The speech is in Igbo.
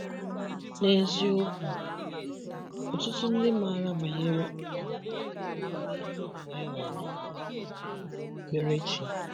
N’eziokwu, ọtụtụ ndị maara banyere um omume ihu abụọ e nwere um n’okpukpere chi